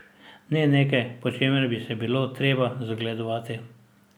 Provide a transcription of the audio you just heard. Ne nekaj, po čemer bi se bilo treba zgledovati.